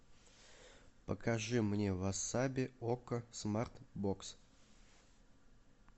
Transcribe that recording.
покажи мне васаби окко смарт бокс